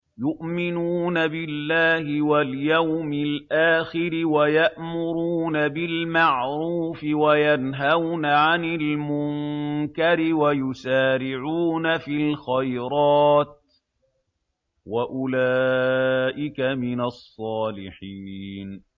يُؤْمِنُونَ بِاللَّهِ وَالْيَوْمِ الْآخِرِ وَيَأْمُرُونَ بِالْمَعْرُوفِ وَيَنْهَوْنَ عَنِ الْمُنكَرِ وَيُسَارِعُونَ فِي الْخَيْرَاتِ وَأُولَٰئِكَ مِنَ الصَّالِحِينَ